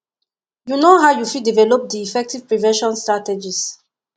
you know how you fit develop di effective prevention strategies